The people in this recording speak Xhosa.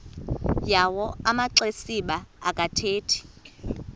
yawo amaxesibe akathethi